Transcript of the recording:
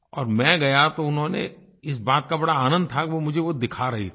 और मैं गया तो उन्होंने इस बात का बड़ा आनंद था कि वो मुझे वो दिखा रही थीं